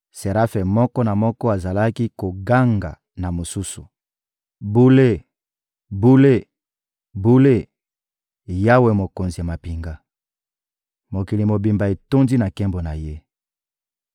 Serafe moko na moko azalaki koganga na mosusu: «Bule, Bule, Bule, Yawe, Mokonzi ya mampinga! Mokili mobimba etondi na nkembo na Ye!»